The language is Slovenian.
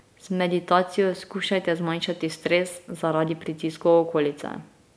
Z meditacijo skušajte zmanjšati stres zaradi pritiskov okolice.